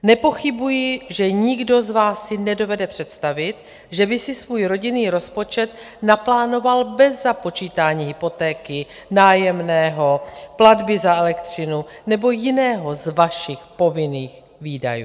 Nepochybuji, že nikdo z vás si nedovede představit, že by si svůj rodinný rozpočet naplánoval bez započítání hypotéky, nájemného, platby za elektřinu nebo jiného z vašich povinných výdajů.